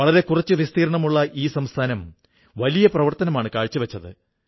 വളരെ കുറച്ചു വിസ്തീർണ്ണമുള്ള ഈ സംസ്ഥാനം വലിയ പ്രവർത്തനമാണു കാഴ്ചവച്ചത്